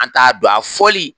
An t'a don a fɔli